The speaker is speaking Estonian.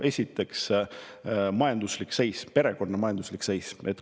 Esiteks, perekonna majanduslik seis.